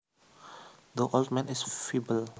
The old man is feeble